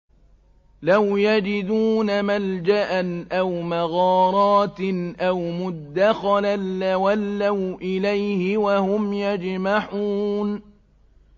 لَوْ يَجِدُونَ مَلْجَأً أَوْ مَغَارَاتٍ أَوْ مُدَّخَلًا لَّوَلَّوْا إِلَيْهِ وَهُمْ يَجْمَحُونَ